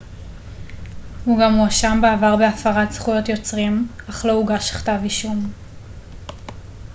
הוא גם הואשם בעבר בהפרת זכויות יוצרים אך לא הוגש כתב אישום